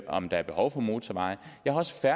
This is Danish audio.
om der er behov for motorveje jeg har også